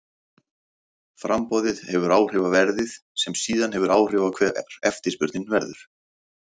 Framboðið hefur áhrif á verðið sem síðan hefur áhrif á hver eftirspurnin verður.